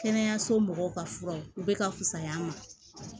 Kɛnɛyaso mɔgɔw ka fura bɛ ka fusaya a ma